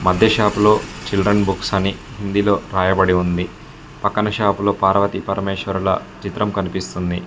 మధ్య షాప్ లో children books అని హిందీ లో రాయబడి ఉంది పక్కన షాప్ లో పార్వతి పరమేశ్వరుల చిత్రం కనిపిస్తుంది.